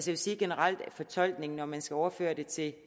vil sige generelt om fortolkningen at man skal overføre det til